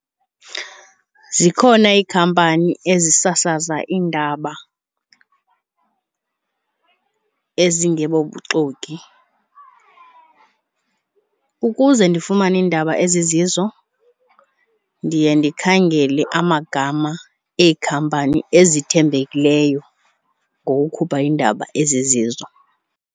Zikhona iikhampani ezisasaza iindaba ezingebobuxoki ukuze ndifumane iindaba ezizizo ndiye ndikhangele amagama ekhampani ezithembekeleyo ngokukhupha iindaba ezizizo.